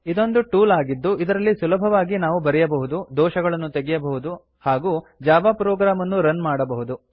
ಇದೊಂದು ಟೂಲ್ ಆಗಿದ್ದು ಇದರಲ್ಲಿ ಸುಲಭವಾಗಿ ನಾವು ಬರೆಯಬಹುದು ದೋಷಗಳನು ತೆಗೆಯಬಹುದು ಹಾಗೂ ಜಾವಾ ಪ್ರೊಗ್ರಾಮ್ ಅನ್ನು ರನ್ ಮಾಡಬಹುದು